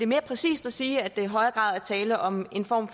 mere præcist at sige at der i højere grad er tale om en form